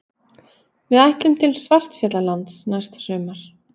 Við ætlum til Svartfjallalands næsta sumar.